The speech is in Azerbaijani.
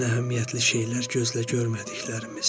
Ən əhəmiyyətli şeylər gözlə görmədiklərimizdir.